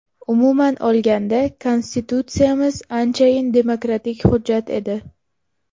Umuman olganda, Konstitutsiyamiz anchayin demokratik hujjat edi.